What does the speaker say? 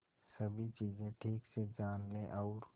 सभी चीजें ठीक से जान ले और